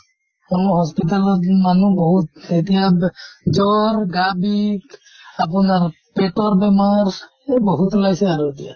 অহ hospital ত মানুহ বিহুত। এতিয়া বে জ্বৰ গা বিষ আপোনাৰ পেটত বেমাৰ এহ বহুত ওলাইছে আৰু এতিয়া।